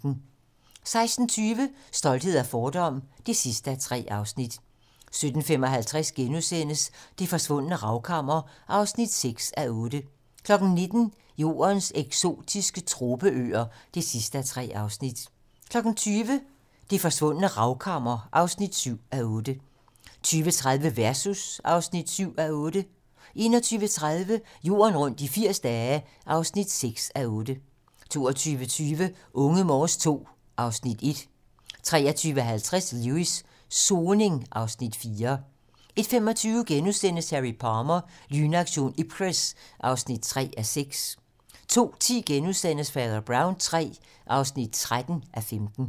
16:20: Stolthed og fordom (3:3) 17:55: Det forsvundne ravkammer (6:8)* 19:00: Jordens eksotiske tropeøer (3:3) 20:00: Det Forsvundne Ravkammer (7:8) 20:30: Versus (7:8) 21:30: Jorden rundt i 80 dage (6:8) 22:20: Unge Morse II (Afs. 1) 23:50: Lewis: Soning (Afs. 4) 01:25: Harry Palmer - Lynaktion Ipcress (3:6)* 02:10: Fader Brown III (13:15)*